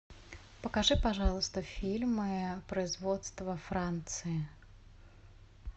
покажи пожалуйста фильмы производства франции